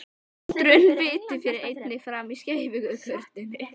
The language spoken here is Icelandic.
Sundrun fitu fer einnig fram í skeifugörninni.